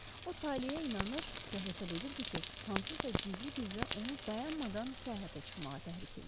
O taleə inanır və hesab edirdi ki, hansısa gizli qüvvə onu dayanmadan səyahətə çıxmağa təhrik eləyir.